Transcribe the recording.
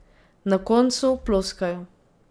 Na koncu ploskajo.